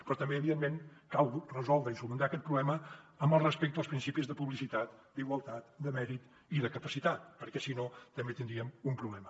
però també evidentment cal resoldre i solucionar aquest problema amb el respecte als principis de publicitat d’igualtat de mèrit i de capacitat perquè si no també tindríem un problema